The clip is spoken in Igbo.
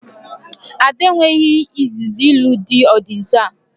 Ada e nweghị izuzu ịlụ di ọ dị nsọ a